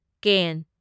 ꯀꯦꯟ